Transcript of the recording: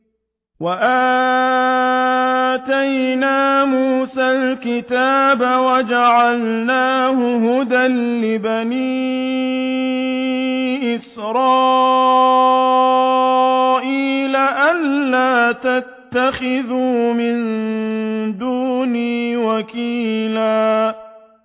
وَآتَيْنَا مُوسَى الْكِتَابَ وَجَعَلْنَاهُ هُدًى لِّبَنِي إِسْرَائِيلَ أَلَّا تَتَّخِذُوا مِن دُونِي وَكِيلًا